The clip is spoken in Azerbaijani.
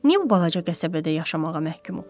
Niyə bu balaca qəsəbədə yaşamağa məhkumuq?